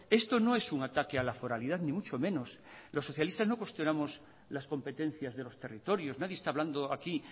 esto no es un ataque a la foralidad ni mucho menos los socialistas no cuestionamos las competencias de los territorios nadie está hablando aquí